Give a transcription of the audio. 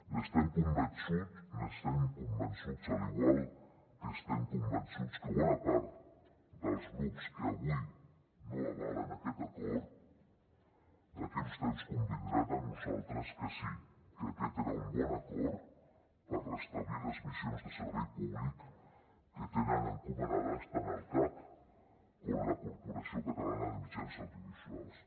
n’estem convençuts n’estem convençuts igual que estem convençuts que bona part dels grups que avui no avalen aquest acord d’aquí a un temps convindran amb nosaltres que sí que aquest era un bon acord per restablir les missions de servei públic que tenen encomanades tant el cac com la corporació catalana de mitjans audiovisuals